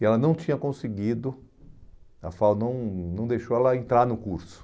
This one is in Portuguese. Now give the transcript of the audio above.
E ela não tinha conseguido, a FAU não não deixou ela entrar no curso.